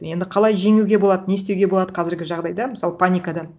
енді қалай жеңуге болады не істеуге болады қазіргі жағдайда мысалы паникадан